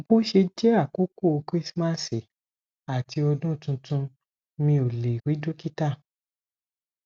bo se je àkókò krismasi àti odun tuntunmi o le ri dokita